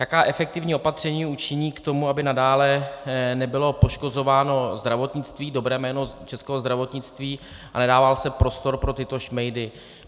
Jaká efektivní opatření učiní k tomu, aby nadále nebylo poškozováno zdravotnictví, dobré jméno českého zdravotnictví a nedával se prostor pro tyto šmejdy.